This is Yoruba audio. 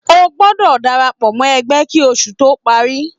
O gbọdọ darapọ mo ẹgbẹ kí oṣù to parí!